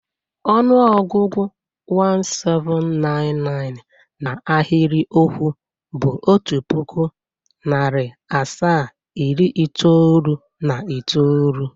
Ọnụọgụgụ 1799 na ahịrịokwu bụ otu pụkụ, narị asaa, iri itoolu na itoolu.